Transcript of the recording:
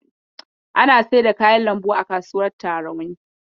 Ana saida kayan lambu a kasuwar Tarauni.